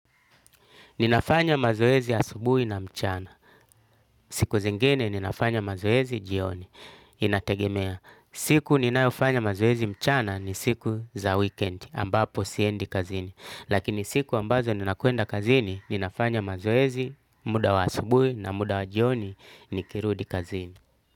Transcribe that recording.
Ninafanya mazoezi asubuhi na mchana. Siku zingine ninafanya mazoezi jioni. Inategemea siku ninayofanya mazoezi mchana ni siku za wikendi ambapo siendi kazini. Lakini siku ambazo ninakwenda kazini ninafanya mazoezi muda wa asubuhi na muda wa jioni nikirudi kazini.